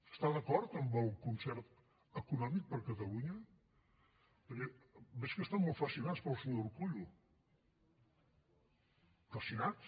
està d’acord amb el concert econòmic per a catalunya perquè veig que estan molt fascinats pel senyor urkullu fascinats